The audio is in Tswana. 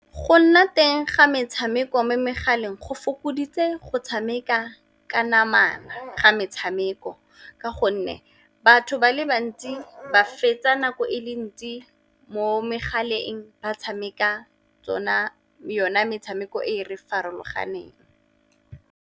Go nna teng ga metshameko mo megaleng go fokoditse go tshameka ka namana ga metshameko, ka gonne batho ba le bantsi ba fetsa nako e le ntsi mo megaleng ba tshameka yona metshameko e re farologaneng.